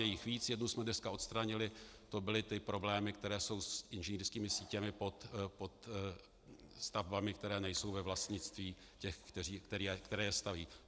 Je jich víc, jednu jsme dneska odstranili, to byly ty problémy, které jsou s inženýrskými sítěmi pod stavbami, které nejsou ve vlastnictví těch, kteří je staví.